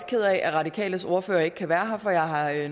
ked af at radikales ordfører ikke kan være her for jeg